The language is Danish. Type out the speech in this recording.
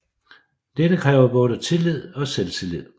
Dette kræver både tillid og selvtillid